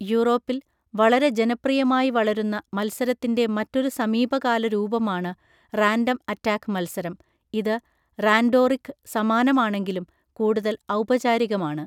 യൂറോപ്പിൽ വളരെ ജനപ്രിയമായി വളരുന്ന മത്സരത്തിൻ്റെ മറ്റൊരു സമീപകാല രൂപമാണ് റാൻഡം അറ്റാക്ക് മത്സരം, ഇത് റാൻഡോറിക്ക് സമാനമാണെങ്കിലും കൂടുതൽ ഔപചാരികമാണ്.